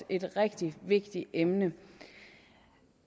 et rigtig vigtigt emne